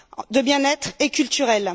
de bien être et culturels.